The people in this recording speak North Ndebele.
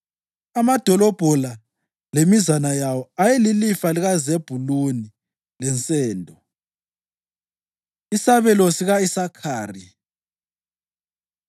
Amadolobho la lemizana yawo ayeyilifa likaZebhuluni lensendo. Isabelo Sika-Isakhari